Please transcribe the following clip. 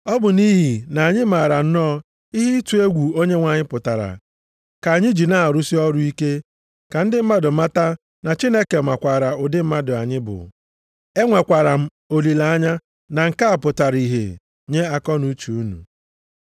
Ọ bụ nʼihi na anyị maara nnọọ ihe ịtụ egwu Onyenwe anyị pụtara, ka anyị ji na-arụsị ọrụ ike ka ndị mmadụ mata Chineke makwaara ụdị mmadụ anyị bụ. Enwekwara m olileanya na nke a pụtara ihe nye akọnuche unu.